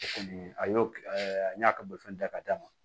O kɔni a y'o kɛ an y'a ka bolifɛn ta ka d'a ma